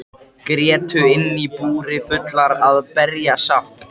Grétu inni í búri fullar með berjasaft.